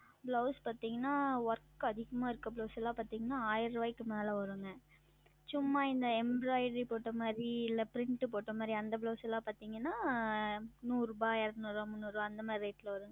Blouse பார்த்தீர்கள் என்றால் Work அதிகமா இருக்கும் Blouse எல்லாம் பார்த்தீர்கள் என்றால் ஆயிரம் ரூபாய்க்கு மேலே வரும் சும்மா இந்த Embroidery மாதிரி இல்லை Print போட்டது மாதிரி அந்த Blouse எல்லாம் பார்த்தீர்கள் என்றால் நூறு ரூபாய் இருனூறு ரூபாய் மூன்னூறு ரூபாய் அந்த மாதிரி Rate ல வரும்